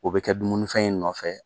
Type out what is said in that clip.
O bɛ kɛ dumunifɛn in nɔfɛ.